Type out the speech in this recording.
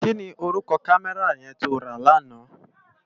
Ki ni órúkò kámèrá yèn tó rá làná?